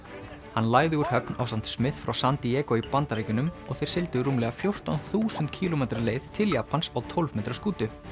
hann lagði úr höfn ásamt frá San Diego í Bandaríkjunum og þeir sigldu rúmlega fjórtán þúsund kílómetra leið til Japans á tólf metra skútu